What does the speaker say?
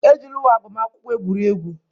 Ejila uwe agbamakwụkwọ egwuri egwu!